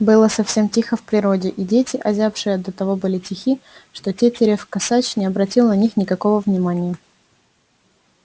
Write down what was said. было совсем тихо в природе и дети озябшие до того были тихи что тетерев косач не обратил на них никакого внимания